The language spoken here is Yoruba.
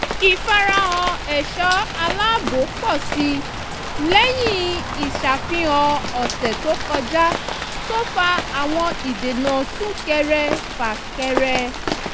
ìfarahàn ẹ̀ṣọ́ aláàbò pọ́ sí i lẹ́yìn ìṣàfihàn ọ̀sẹ̀ tó kọjá tó fa àwọn ìdènà súnkẹrẹ-fà-kẹrẹ